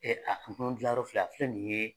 dilan filɛ a filɛ nin ye